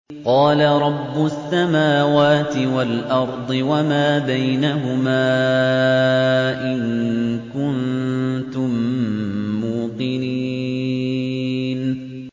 قَالَ رَبُّ السَّمَاوَاتِ وَالْأَرْضِ وَمَا بَيْنَهُمَا ۖ إِن كُنتُم مُّوقِنِينَ